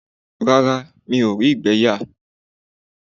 Rárá, mí ó rí ìgbẹ́ yà.